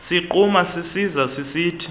sigquma sisiza sisithi